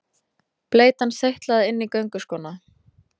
Bleytan seytlaði inn í gönguskóna.